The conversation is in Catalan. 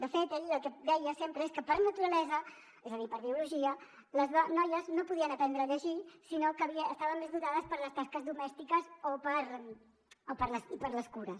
de fet ell el que deia sempre és que per naturalesa és a dir per biologia les noies no podien aprendre a llegir sinó que estaven més dotades per a les tasques domèstiques i per a les cures